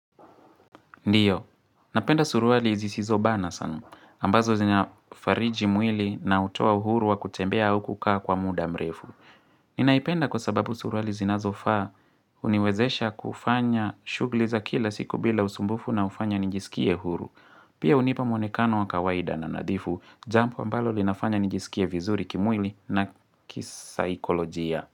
Ndiyo, napenda suruali zisizo bana sana, ambazo zinafariji mwili na hutoa uhuru wa kutembea au kukaa kwa muda mrefu. Ninaipenda kwa sababu suruali zinazofaa huniwezesha kufanya shugli za kila siku bila usumbufu na hufanya nijisikie huru. Pia hunipa mwonekano wa kawaida na nadhifu, jambo ambalo linafanya nijisikie vizuri kimwili na kisaikolojia.